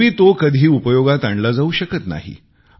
एरवी तो कधी उपयोगात आणला जाऊ शकत नाही